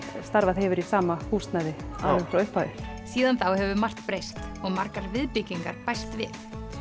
starfað hefur í sama húsnæði alveg frá upphafi síðan þá hefur margt breyst og margar viðbyggingar bæst við